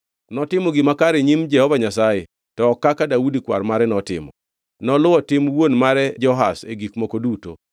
Notimo gima kare e nyim Jehova Nyasaye, to ok kaka Daudi kwar mare notimo. Noluwo tim wuon mare Joash e gik moko duto.